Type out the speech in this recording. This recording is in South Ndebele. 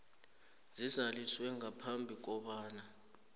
zizaliswe ngaphambi kobana